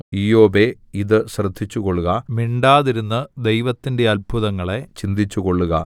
ഇയ്യോബേ ഇത് ശ്രദ്ധിച്ചുകൊള്ളുക മിണ്ടാതിരുന്ന് ദൈവത്തിന്റെ അത്ഭുതങ്ങളെ ചിന്തിച്ചുകൊള്ളുക